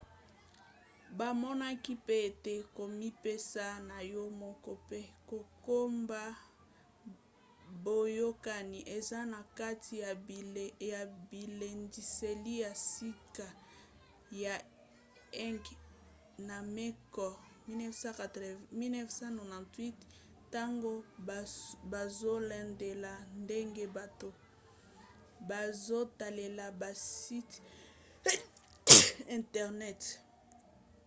bamonaki pe ete komipesa na yo moko” mpe kokoba boyokani” eza na kati ya bilendiseli ya sika ya eighmey na mccord 1998 ntango bazolandela ndenge bato bazotalela basite internet